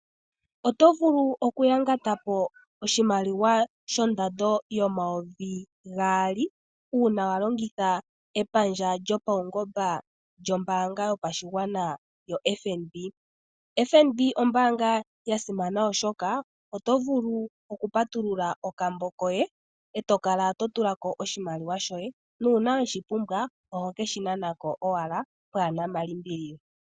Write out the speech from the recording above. Oto vulu okuyangata po oshimaliwa shondando yomayovi gaali, uuna wa longitha epandja lyopaungomba lyombaanga yopashigwana yoFNB. FNB ombaanga ya simana, oshoka oto vulu okupatulula okambo koye, e to kala to tula ko oshimaliwa shoye, nuuna we shi pumbwa, oho ke shi nana ko owala pwaa na malimbililo.